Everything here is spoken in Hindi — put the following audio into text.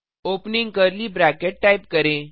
ओपनिंग कर्ली ब्रैकेट टाइप करें